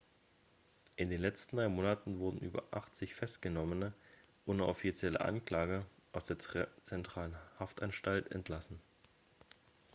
in den letzten drei monaten wurden über 80 festgenommene ohne offizielle anklage aus der zentralen haftanstalt entlassen